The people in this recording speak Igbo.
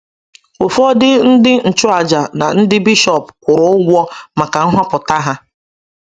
Ụfọdụ ndị nchụaja na ndị bishọp kwụrụ ụgwọ maka nhọpụta ha.